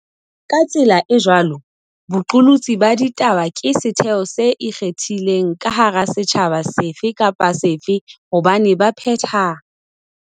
Ka tsela e jwalo, boqolotsi ba ditaba ke setheo se ikgethileng ka hara setjhaba sefe kapa sefe hobane baphetha